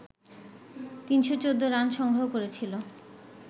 ৩১৪ run সংগ্রহ করেছিল